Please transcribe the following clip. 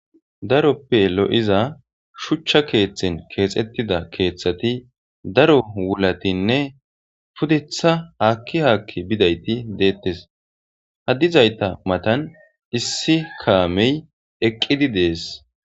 Darope lo'iza shucha kethan kexetida kethati daro wulatine pudeta haki haki bidayti detes ha dizayta matan issi kamey eqidi de'es.